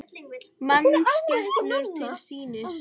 Mannskepnur til sýnis